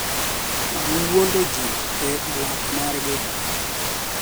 Mag wuondo ji e alap margi